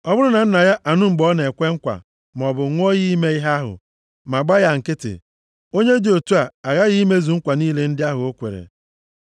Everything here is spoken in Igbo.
ọ bụrụ na nna ya anụ mgbe ọ na-ekwe nkwa maọbụ ṅụọ iyi ime ihe ahụ, ma gba ya nkịtị, + 30:4 Ma o kwughị ihe ọbụla onye dị otu a aghaghị imezu nkwa niile ndị ahụ o kwere.